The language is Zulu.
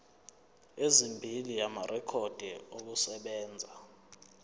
ezimbili amarekhodi okusebenza